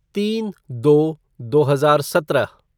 तीन दो दो हजार सत्रह